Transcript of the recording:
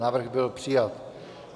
Návrh byl přijat.